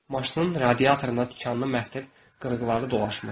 Maşının radiatorunda tikanlı məftil qırıqları dolaşmışdı.